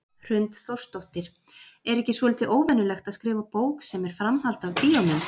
Hrund Þórsdóttir: Er ekki svolítið óvenjulegt að skrifa bók sem er framhald af bíómynd?